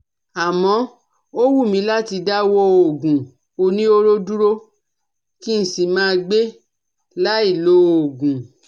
Àmọ́, ó wù mí láti dáwọ́ òògùn oníhóró dúró kí n sì máa gbé láì lòògùn